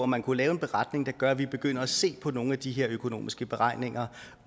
man kunne lave en beretning der gør at vi begynder at se på nogle af de økonomiske beregninger